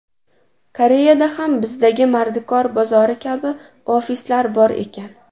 Koreyada ham bizdagi mardikor bozori kabi ofislar bor ekan.